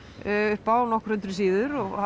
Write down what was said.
upp á nokkur hundruð síður og